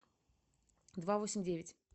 два восемь девять